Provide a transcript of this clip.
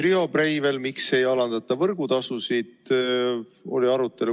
Riho Breivel küsis, miks ei alandata võrgutasusid.